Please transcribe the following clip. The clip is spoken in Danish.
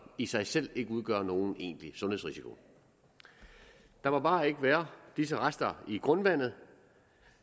i sig selv ikke udgør nogen egentlig sundhedsrisiko der må bare ikke være disse rester i grundvandet